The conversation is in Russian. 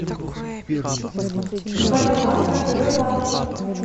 боливар в втб банке